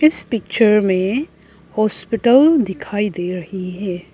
इस पिक्चर में हॉस्पिटल दिखाई दे रही है।